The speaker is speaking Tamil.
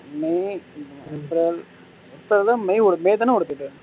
மே எப்ரல் இப்போதான் மே ஓடுது மே தானே ஓடுது இது